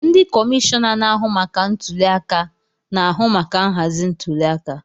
Ndị kọmishọna na-ahụ maka ntuli aka na-ahụ maka nhazi ntuliaka.